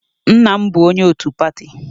Nna m bụ onye otu pati